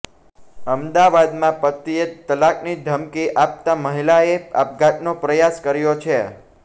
અમદાવાદમાં પતિએ તલાકની ધમકી આપતા મહિલાએ આપઘાતનો પ્રયાસ કર્યો છે